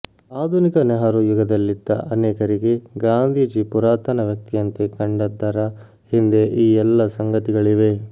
ಆಧುನಿಕ ನೆಹರೂ ಯುಗದಲ್ಲಿದ್ದ ಅನೇಕರಿಗೆ ಗಾಂಧೀಜಿ ಪುರಾತನ ವ್ಯಕ್ತಿಯಂತೆ ಕಂಡದ್ದರ ಹಿಂದೆ ಈ ಎಲ್ಲ ಸಂಗತಿಗಳಿವೆ